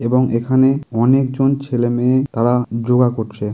এবং এখানে অনেকজন ছেলে মেয়ে তারা যোগা করছে।